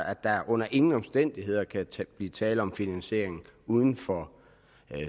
at der under ingen omstændigheder kan kan blive tale om finansiering uden for